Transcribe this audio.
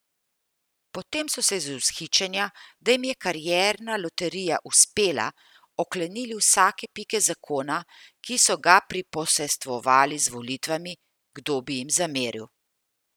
Potem so se iz vzhičenja, da jim je karierna loterija uspela, oklenili vsake pike zakona, ki so ga priposestvovali z volitvami, kdo bi jim zameril.